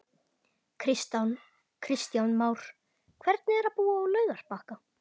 Kristján Már: Hvernig er að búa á Laugarbakka?